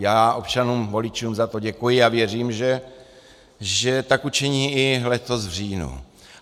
Já občanům voličům za to děkuji a věřím, že tak učiní i letos v říjnu.